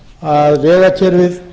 að vegakerfið